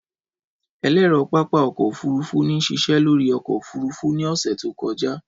Ẹlẹrọ pápá ọkọ ofurufu n ṣiṣẹ lori ọkọ ofurufu ni ọsẹ to kọja.